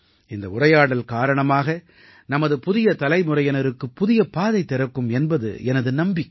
இந்த உரையாடல் காரணமாக நமது புதிய தலைமுறையினருக்குப் புதிய பாதை திறக்கும் என்பது எனது நம்பிக்கை